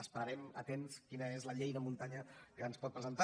esperarem atents a quina és la llei de muntanya que ens pot presentar